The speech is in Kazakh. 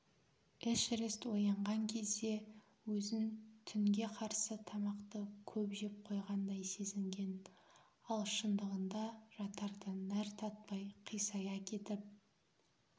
эшерест оянған кезде өзін түнге қарсы тамақты көп жеп қойғандай сезінген ал шындығында жатарда нәр татпай қисая кетіп